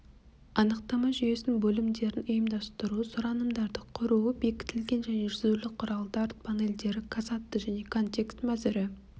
анықтама жүйесінің бөлімдерін ұйымдастыру сұранымдарды құру бекітілген және жүзулі құралдар панелдері касадты және констекст мәзірі